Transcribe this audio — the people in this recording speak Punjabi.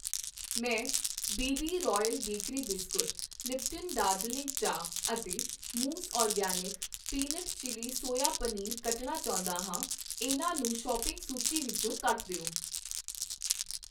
ਮੈਂ B B Royal Bakery biscuit, Lipton Darjeeling ਚਾਹ ਅਤੇ ਮੌਜ਼ organic peanut chilli soya paneer ਕੱਟਨਾ ਚਾਹੁੰਦਾ ਹਾਂ, ਇਹਨਾਂ ਨੂੰ ਸੌਪਿੰਗ ਸੂਚੀ ਵਿੱਚੋ ਕੱਟ ਦਿਓ